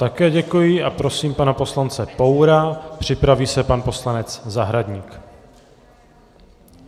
Také děkuji a prosím pana poslance Poura, připraví se pan poslanec Zahradník.